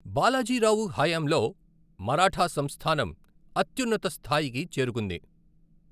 బాలాజీరావు హయాంలో మరాఠా సంస్థానం అత్యున్నత స్థాయికి చేరుకుంది.